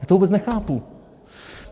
Já to vůbec nechápu.